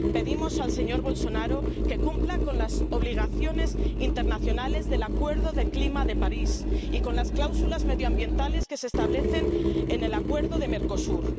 Pedimos al señor Bolsonaro que cumpla las obligaciones internacionales del Acuerdo sobre el clima de París y las cláusulas medioambientales que se establecen en el Acuerdo con Mercosur.